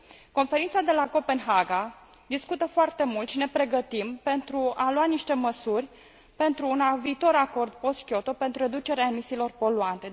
Conferința de la Copenhaga discută foarte mult și ne pregătim pentru a lua niște măsuri pentru un viitor acord post Kyoto pentru reducerea emisiilor poluante.